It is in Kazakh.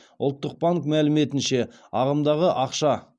ұлттық банк мәліметінше ағымдағы ақша